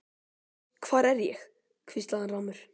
Hvar er ég? hvíslaði hann rámur.